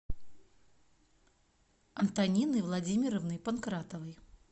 антонины владимировны панкратовой